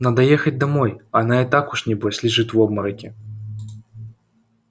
надо ехать домой она и так уж небось лежит в обмороке